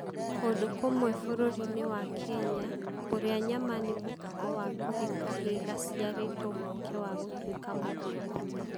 Kũndũ kũmwe bũrũri-inĩ wa Kenya, kũrĩa nyama nĩ mũtugo wa kũhe kahĩĩ gaciarĩtwo mweke wa gũtuĩka mũndũ mũgima.